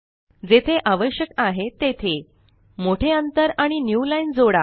जेथे आवश्यक आहे तेथे मोठे अंतर आणि newlineजोडा